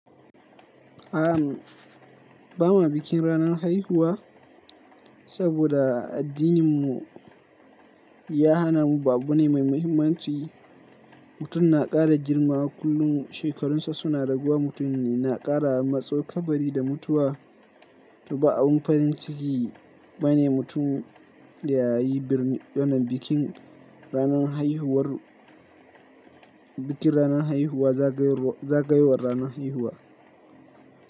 Am, ba ma bikin ranar haihuwa saboda addininmu ya hana mu. Ba abu ne mai mahimmanci. Mutum na ƙara girma kullum, shekarunsa suna raguwa. Mutum ne na ƙara matsokabari da mutuwa. To, ba abin farin ciki ba ne mutum ya yi birni don bikin ranar haihuwar, bikin ranar haihuwa, zagayowar ranar haihuwa.